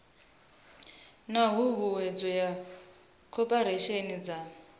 na huhuwedzo ya koporasi dza